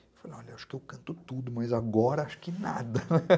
Eu falei, olha, acho que eu canto tudo, mas agora acho que nada.